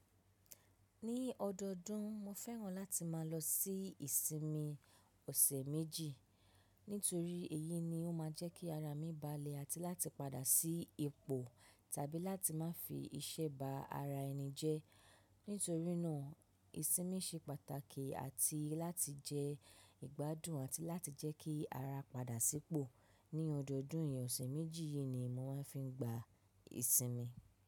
Ní ọdọdún, mo fẹ́ràn láti máa lọ sí ìsinmi ọ̀sẹ̀ méjì. Nítorí èyí ni ó máa jẹ́ kí ara mi balẹ̀ àti láti padà sí ipò tàbí láti má fi iṣẹ́ ba ara ẹni jẹ́. Nítorínà ìsinmi ṣe pàtàkì àti láti jẹ́ ìgbádùn àti láti jẹ́ kí ara padà sípò. Ní ọdọdún ìyẹn ọ̀sẹ̀ méjì yìí ni mo máa fi ń gba ìsinmi.